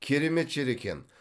керемет жер екен